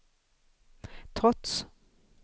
trots